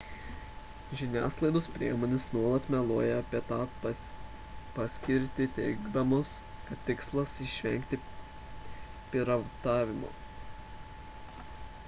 žiniasklaidos priemonės nuolat meluoja apie to paskirtį teigdamos kad tikslas išvengti piratavimo